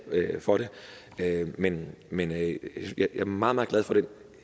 for det men men jeg er meget meget glad for